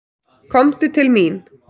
Komdu til mín.